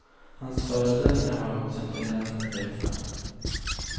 Hans föreställningar har också en tendens att växa.